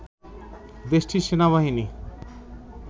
দেশটির সেনাবাহিনী